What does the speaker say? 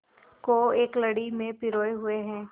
को एक लड़ी में पिरोए हुए हैं